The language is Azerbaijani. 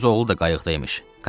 Öz oğlu da qayıqda imiş.